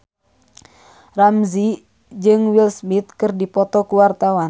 Ramzy jeung Will Smith keur dipoto ku wartawan